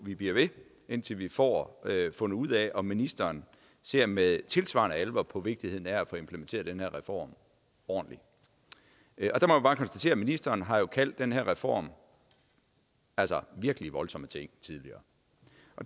vi bliver ved indtil vi får fundet ud af om ministeren ser med tilsvarende alvor på vigtigheden af at få implementeret den her reform ordentligt jeg må bare konstatere at ministeren har kaldt den her reform virkelig voldsomme ting tidligere